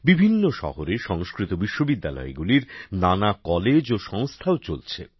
বিভিন্ন শহরে সংস্কৃত বিশ্ববিদ্যালয়গুলির নানা কলেজ ও সংস্থাও চলছে